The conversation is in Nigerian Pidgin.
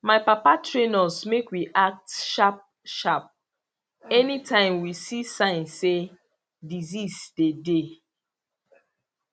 my papa train us make we act sharp sharp anytime we see sign say disease dey dey